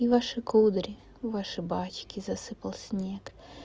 и ваши кудри ваши бачки засыпал снег